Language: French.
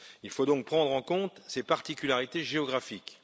Il faut donc prendre en compte ces particularités géographiques.